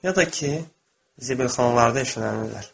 Ya da ki, zibilxanalarda eşələnirlər.